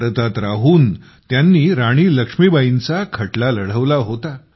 भारतात राहून त्यांनी राणी लक्ष्मीबाईंचा खटला लढवला होता